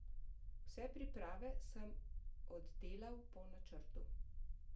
Vse priprave sem oddelal po načrtu.